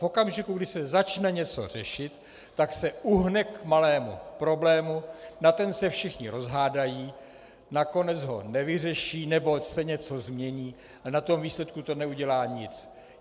V okamžiku, kdy se začne něco řešit, tak se uhne k malému problému, na ten se všichni rozhádají, nakonec ho nevyřeší, nebo se něco změní, a na tom výsledku to neudělá nic.